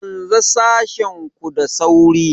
Canza sashen ku da sauri!